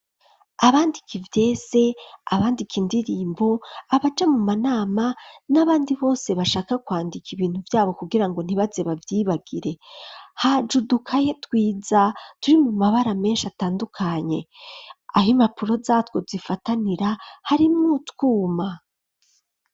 Abandika ivyese abandika indirimbo abaja mu manama n'abandi bose bashaka kwandika ibintu vyabo kugira ngo ntibaze bavyibagire haje udukaye twiza turimwo amabara menshi atandukanye aho impapuro zatwo zifatanira harimo utwuma.